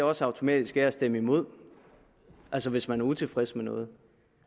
også automatisk er at stemme imod altså hvis man er utilfreds med noget